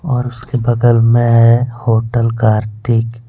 और उसके बगल में है होटल कार्तिक --